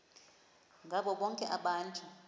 ngabo bonke abantu